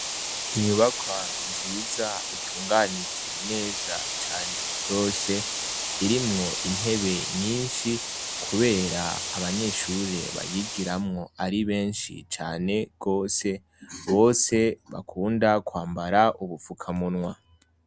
Inyubakwa nziza itunganije neza cane gose irimwo intebe nyinshi kubera abanyeshure bayigiramwo ari benshi cane gose bose bakunda kwambara ubufukamunwa.